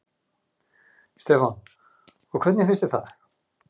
Stefán: Og hvernig fannst þér það?